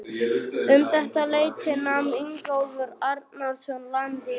Um þetta leyti nam Ingólfur Arnarson land í